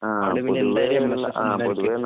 പൊതുവേ നാട്ടിൻ പുറത്ത് കാണുന്ന